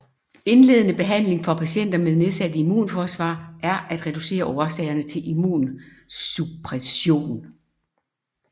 Indledende behandling for patienter med nedsat immunforsvar er at reducere årsagerne til immunsuppression